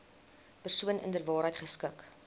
persoon inderwaarheid geskik